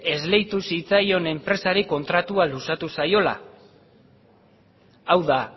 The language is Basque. esleitu zitzaion enpresari kontratua luzatu zaiola hau da